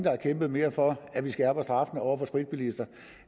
har kæmpet mere for at vi skærper straffen over for spritbilister